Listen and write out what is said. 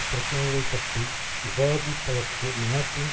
பிரச்சினைகளைப்பற்றி விவாதிப்பதற்கு நாட்டின்